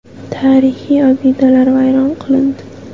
Tarixiy obidalar vayron qilindi.